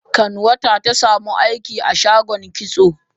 kanwata ta samu aiki a shagon kitso.